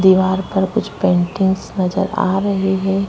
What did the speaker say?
दीवार पर कुछ पेन्टिंग्स नजर आ रही है।